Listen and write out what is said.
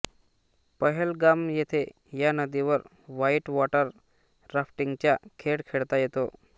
पहेलगाम येथे या नदीवर व्हाइट वॉटर राफ्टिंगचा खेळ खेळता येतो